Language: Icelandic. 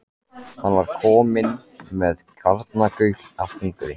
Hann var kominn með garnagaul af hungri.